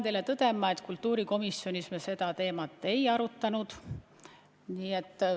Pean tõdema, et kultuurikomisjonis me seda teemat ei arutanud.